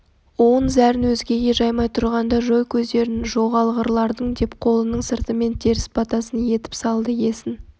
уын зәрін өзгеге жаймай тұрғанда жой көздерін жоғалғырлардың деп қолының сыртымен теріс батасын етіп салды есін